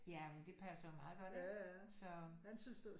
Jamen det passer jo meget godt ikke så